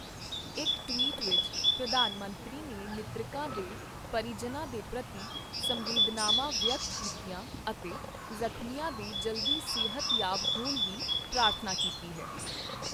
ਇੱਕ ਟਵੀਟ ਵਿੱਚ, ਪ੍ਰਧਾਨ ਮੰਤਰੀ ਨੇ ਮ੍ਰਿਤਕਾਂ ਦੇ ਪਰਿਜਨਾਂ ਦੇ ਪ੍ਰਤੀ ਸੰਵੇਦਨਾਵਾਂ ਵਿਅਕਤ ਕੀਤੀਆਂ ਅਤੇ ਜ਼ਖ਼ਮੀਆਂ ਦੇ ਜਲਦੀ ਸਿਹਤਯਾਬ ਹੋਣ ਦੀ ਪ੍ਰਾਰਥਨਾ ਕੀਤੀ ਹੈ।